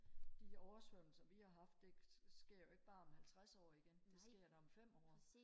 de oversvømmelser vi har haft ikke sker jo ikke bare om halvtreds år igen det sker da om 5 år